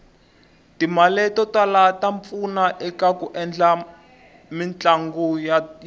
timale totala tapfuna ekaku endla mitlanguyatu